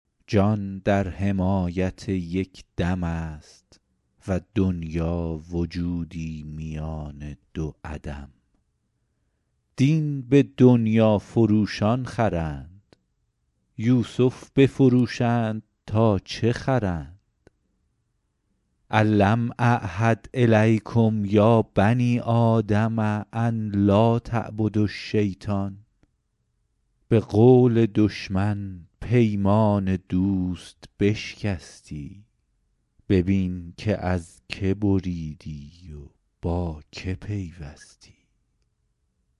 جان در حمایت یک دم است و دنیا وجودی میان دو عدم دین به دنیا فروشان خرند یوسف بفروشند تا چه خرند الم اعهد الیکم یا بنی آدم ان لاتعبدوا الشیطان به قول دشمن پیمان دوست بشکستی ببین که از که بریدی و با که پیوستی